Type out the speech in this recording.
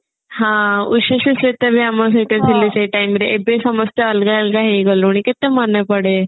ହଁ ଉଷଶ୍ରୀ ଶିଳ୍ପା ବି ଆମ ସହିତ ଥିଲେ ସେଇ time ରେ ଏବେ ସମସ୍ତେ ଅଲଗା ଅଲଗା ହେଇଗଲୁଣି କେତେ ମନେ ପଡେ